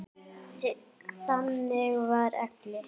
Þannig var Elli.